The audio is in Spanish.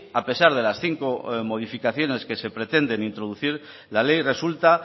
a pesar de las cinco modificaciones que se pretenden introducir la ley resulta